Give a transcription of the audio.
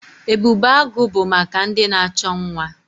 Ebubeagụ bụ maka ndị na-achọ nwa.